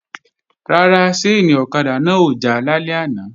Rárá, ṣáìnì ọ̀kadà náà ò já lálẹ́ àná